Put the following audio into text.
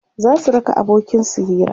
zasu raka abokin su Hira